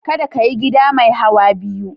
Kada ka yi gida mai hauwa biyu.